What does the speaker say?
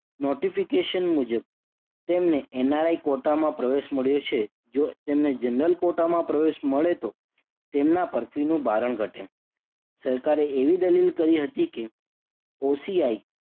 notification મુજબ તેમને NRI quota માં પ્રવેશ મળ્યો છે. જો તેમને general quota માં પ્રવેશ મળે તો તેમના પર ફીનું ભારણ ઘટે. સરકારે એવી દલીલ કરી હતી કે OCI